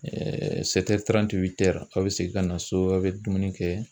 aw bɛ segin ka na so aw bɛ dumuni kɛ